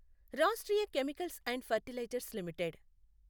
Rashtriya chemicals and fertilizers limited